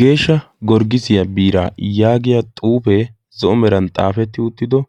geeshsha gorggisiyaa biiraa yaagiya xuufee zo7o meran xaafetti uttido